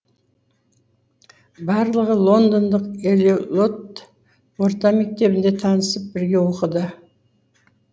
барлығы лондондық эллиот орта мектебінде танысып бірге оқыды